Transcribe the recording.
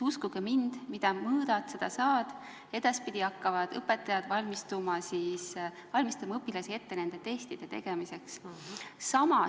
Uskuge mind, mida mõõdad, seda saad – edaspidi hakkavad õpetajad õpilasi nende testide tegemiseks ette valmistama.